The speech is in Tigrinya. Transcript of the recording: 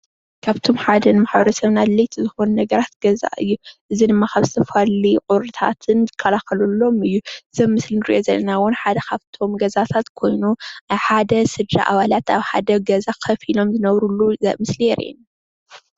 ካብቶም ሓደ ን ማሕበረሰብና ኣድለይቲ ዝኮኑ ነገራት ገዛ እዩ:: እዚ ድማ ካብ ዝተፈላለዩ ቁርታትን ንከላኽለሎም እዩ ።እዚ ኣብ ምስሊ ንሪኦ ዘለና ሓደ ካብቶም ገዛታት ኮይኑ ሓደ ስድራ ኣባላት ኣብ ሓደ ገዛ ከፍ ኢሎም ዝነብሩሉ ምስሊ የረኢና።